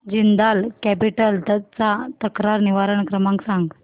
Jindal capital चा तक्रार निवारण क्रमांक सांग